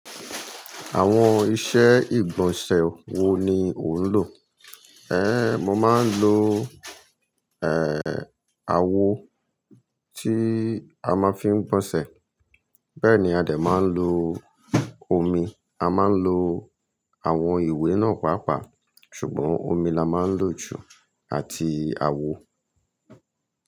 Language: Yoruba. Àwọn ìṣe ìgbọ̀nsẹ̀ wo ni ò ń lò? Ẹ́, mo máa ń lo, ẹ́, awọ tí a máa fi ń gbọ̀nsẹ̀. Bẹ́ẹ̀ ni a dẹ̀ ma ń lo omi, a máa ń lo àwọn ìwé náà pàápàá ṣùgbọ́n omi la máa ń lò jù àti awọ.